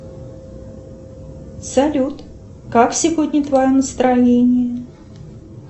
салют как сегодня твое настроение